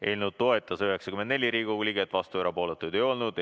Eelnõu toetas 94 Riigikogu liiget, vastuolijaid ja erapooletuid ei olnud.